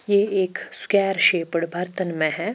ये एक square shaped भर्तन मे है।